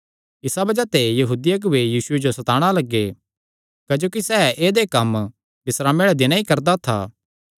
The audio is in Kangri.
इसा बज़ाह ते यहूदी अगुऐ यीशुये जो सताणा लग्गे क्जोकि सैह़ ऐदेय कम्म बिस्रामे आल़े दिने ई करदा था